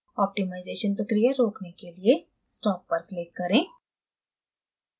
optimisation प्रक्रिया रोकने के लिए stop पर click करें